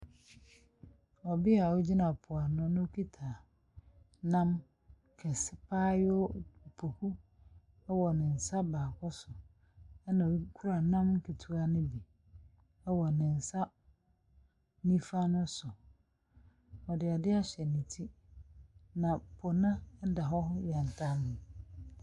Obi a ogyina po ano na okita nam kɛse. Abaayewa, poku wɔ ne nsa baako so. Ɛna okura nam ketewa no bi wɔ ne nsa nifa no so. Ɔde ade ahyɛ ne ti. Na po no da hɔ yɛntamm.